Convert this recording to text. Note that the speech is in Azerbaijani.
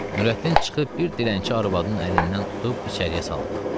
Nurəddin çıxıb bir dilənçi arvadının əlindən tutub içəriyə saldı.